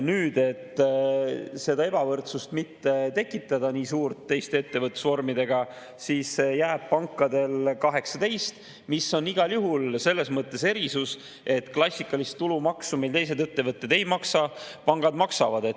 Nüüd, et mitte nii suurt ebavõrdsust teiste ettevõtlusvormidega tekitada, jääb pankadele 18%, mis on igal juhul selles mõttes erisus, et klassikalist tulumaksu, mida teised ettevõtted ei maksa, pangad maksavad.